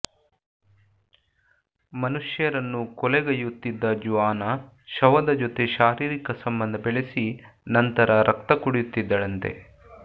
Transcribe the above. ಮನುಷ್ಯರನ್ನು ಕೊಲೆಗೈಯುತ್ತಿದ್ದ ಜುಆನಾ ಶವದ ಜೊತೆ ಶಾರೀರಿಕ ಸಂಬಂಧ ಬೆಳೆಸಿ ನಂತ್ರ ರಕ್ತ ಕುಡಿಯುತ್ತಿದ್ದಳಂತೆ